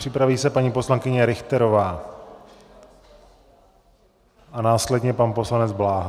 Připraví se paní poslankyně Richterová a následně pan poslanec Bláha.